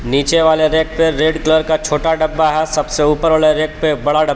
नीचे वाले रैक पे रेड कलर का छोटा डब्बा है सबसे ऊपर वाला रैक पे बड़ा डब --